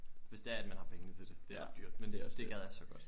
Hvis det er at man har pengene til det det er ret dyrt men det gad jeg så godt